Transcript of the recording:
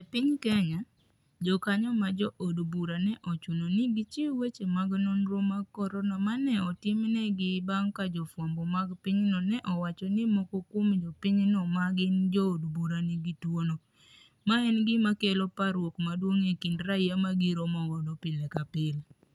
E piny kenya, jokanyo ma jo od bura ne ochuno ni gichiw weche mag nonro mag corona ma ne otim negi bang' ka jo fwambo mag pinyno ne owacho ni moko kuom jopiny no ma gin jo od bura nigi tuo no, ma en gima kelo parruok maduong' e kind raia ma giromogo pile ka pile